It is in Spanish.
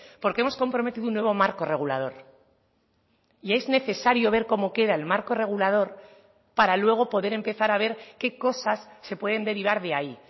porque hemos comprometido un nuevo marco regulador y es necesario ver cómo queda el marco regulador para luego poder empezar a ver qué cosas se pueden derivar de ahí